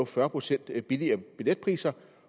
fyrre procent billigere billetpriser